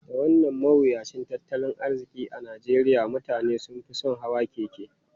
Da wannan mawuyacin tattalin arziki a Najeriya, mutane sun fi son hawan keke.